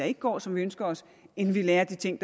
ikke går som vi ønsker os end vi lærer af de ting